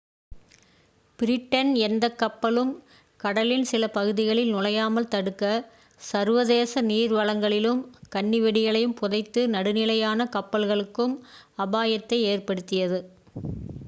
Britain எந்தக் கப்பலும் கடலின் சில பகுதிகளில் நுழையாமல் தடுக்க சர்வதேச நீர் வளங்களிலும் கண்ணி வெடிகளைப் புதைத்து நடுநிலையான கப்பல்களுக்கும் அபாயத்தை ஏற்படுத்தியது